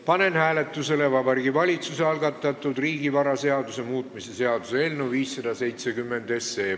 Panen hääletusele Vabariigi Valitsuse algatatud riigivaraseaduse muutmise seaduse eelnõu 570.